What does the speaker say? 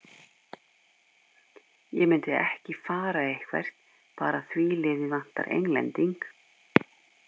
Ég myndi ekki fara eitthvert bara því liði vantar Englending.